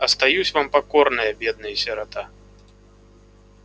остаюсь вам покорная бедная сирота